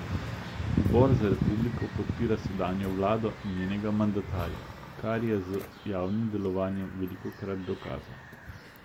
Zbor za republiko podpira sedanjo vlado in njenega mandatarja, kar je z javnim delovanjem velikokrat dokazal.